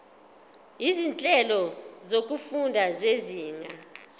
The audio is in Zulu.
izinhlelo zokufunda zezinga